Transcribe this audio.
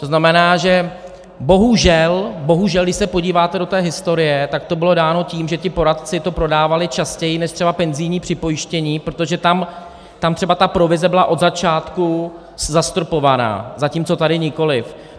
To znamená, že bohužel, když se podíváte do té historie, tak to bylo dáno tím, že ti poradci to prodávali častěji než třeba penzijní připojištění, protože tam třeba ta provize byla od začátku zastropovaná, zatímco tady nikoliv.